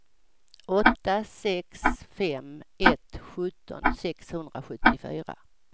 åtta sex fem ett sjutton sexhundrasjuttiofyra